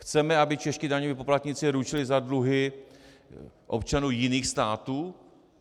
Chceme, aby čeští daňoví poplatníci ručili za dluhy občanů jiných států?